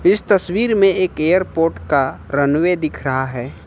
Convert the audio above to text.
इस तस्वीर में एक एयरपोर्ट का रनवे दिख रहा है।